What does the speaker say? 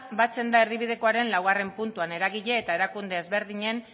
batzen da erdibidekoaren laugarrena puntuan eragile eta erakunde ezberdinen